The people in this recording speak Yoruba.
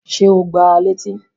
Ṣé o gbá a létí?